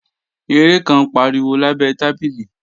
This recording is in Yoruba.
Eré kan ń pariwo lábẹ tábìlì